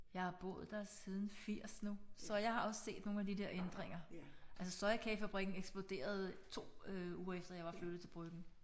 Jeg har boet der siden 80 nu så jeg har også set nogle af de der ændringer. Altså sojakagefabrikken eksploderede 2 øh uger efter jeg var flyttet til Bryggen